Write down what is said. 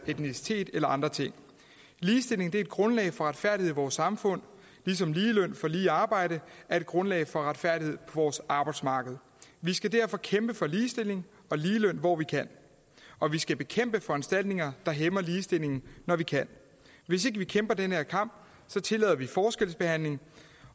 etnicitet eller andre ting ligestilling er et grundlag for retfærdighed i vores samfund ligesom lige løn for lige arbejde er et grundlag for retfærdighed vores arbejdsmarked vi skal derfor kæmpe for ligestilling og ligeløn hvor vi kan og vi skal bekæmpe foranstaltninger der hæmmer ligestillingen når vi kan hvis ikke vi kæmper den her kamp tillader vi forskelsbehandling